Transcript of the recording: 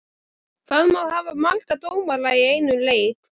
Hvað má hafa marga dómara í einum leik?